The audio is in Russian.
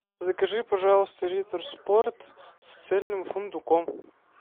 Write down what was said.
закажи пожалуйста риттер спорт с цельным фундуком